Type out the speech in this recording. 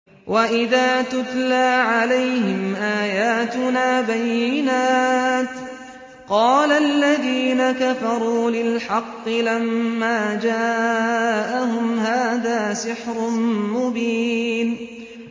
وَإِذَا تُتْلَىٰ عَلَيْهِمْ آيَاتُنَا بَيِّنَاتٍ قَالَ الَّذِينَ كَفَرُوا لِلْحَقِّ لَمَّا جَاءَهُمْ هَٰذَا سِحْرٌ مُّبِينٌ